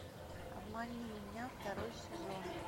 обмани меня второй сезон